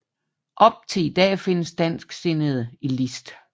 Op til i dag findes dansksindede i List